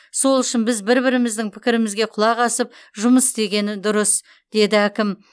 сол үшін біз бір біріміздің пікірімізге құлақ асып жұмыс істеген дұрыс деді әкім